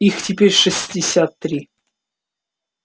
их теперь шестьдесят три